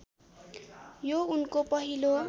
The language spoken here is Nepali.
यो उनको पहिलो